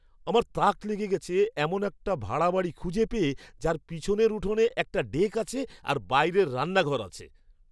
আমার তাক লেগে গেছে এমন একটা ভাড়া বাড়ি খুঁজে পেয়ে যার পিছনের উঠোনে একটা ডেক আছে আর বাইরের রান্নাঘর আছে!